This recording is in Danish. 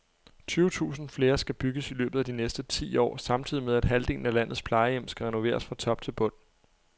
Tyve tusind flere skal bygges i løbet af de næste ti år samtidig med, at halvdelen af landets plejehjem skal renoveres fra top til bund.